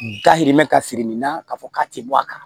Dayirimɛ ka siri nin na k'a fɔ k'a ti bɔ a kala